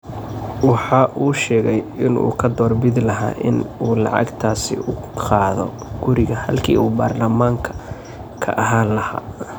Waxa uu sheegay in uu ka door bidi lahaa in uu lacagtaasi u qaado guriga halkii uu baarlamaanka ka ahaan lahaa.